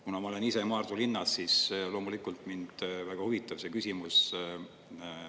Kuna ma olen ise Maardu linnas, siis loomulikult mind väga huvitab see küsimus.